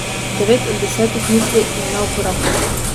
Devet od desetih misli je neuporabnih.